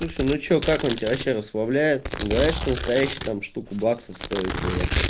слушай ну что как он тебя вообще расслабляет говорят что настоящий там штуку баксов стоит пуэр